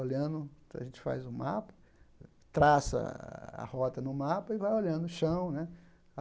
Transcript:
Olhando, a gente faz um mapa, traça a rota no mapa e vai olhando o chão, né?